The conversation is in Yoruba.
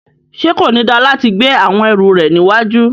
Ṣe ko ni da lati gbe awọn ẹru rẹ níwájú?